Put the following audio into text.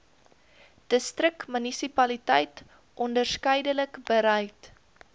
distriksmunisipaliteit onderskeidelik bereid